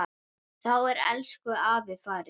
Þá er elsku afi farinn.